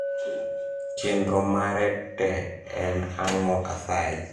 chenro mare te en ang`o asayi